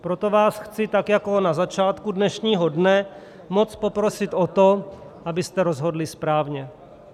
Proto vás chci tak, jako na začátku dnešního dne, moc poprosit o to, abyste rozhodli správně.